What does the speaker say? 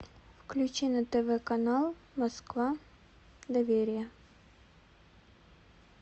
включи на тв канал москва доверие